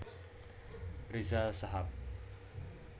Riza Shahab